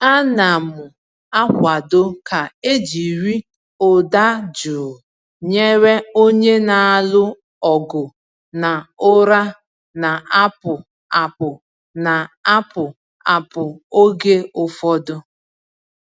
Ana m akwado ka e jiri ụda jụụ nyere onye na-alụ ọgụ na ụra na-apụ apụ na-apụ apụ oge ụfọdụ.